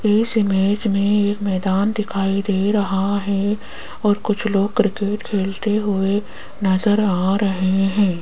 इस इमेज में एक मैदान दिखाई दे रहा है और कुछ लोग क्रिकेट खेलते हुए नजर आ रहे हैं।